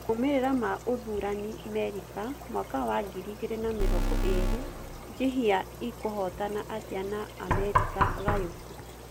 Maumerera ma ũthurani Merika mwaka wa ngiri igĩrĩ na mirongo ĩrĩ Njihia ĩkũhũtana atĩa na Amerika gayũku